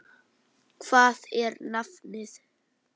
þaut í holti tóa